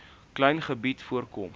klein gebied voorkom